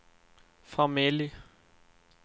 familj